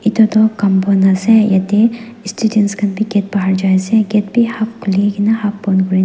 etu toh compound ase yete students khanbi gate bahar jai ase gate bi half khulikena half pon kurikena.